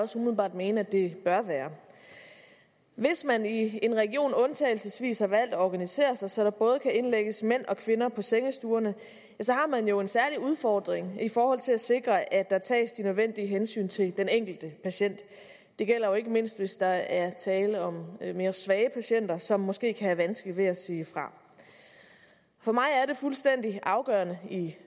også umiddelbart mene at det bør være hvis man i en region undtagelsesvis har valgt at organisere sig så der både kan indlægges mænd og kvinder på sengestuerne har man jo en særlig udfordring i forhold til at sikre at der tages de nødvendige hensyn til den enkelte patient det gælder jo ikke mindst hvis der er tale om mere svage patienter som måske kan have vanskeligt ved at sige fra for mig er det fuldstændig afgørende i